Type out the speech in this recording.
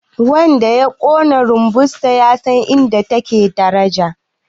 wanda ya Kona rumbunsa ya san inda taka take daraja